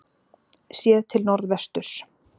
Séð til norðvesturs.